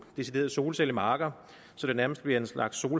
deciderede solcellemarker så det nærmest bliver en slags